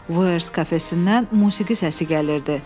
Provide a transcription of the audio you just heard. Vafes kafesindən musiqi səsi gəlirdi.